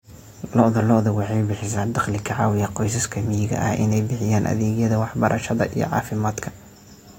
Lo'da lo'da waxay bixisaa dakhli ka caawiya qoysaska miyiga ah inay bixiyaan adeegyada waxbarashada iyo caafimaadka.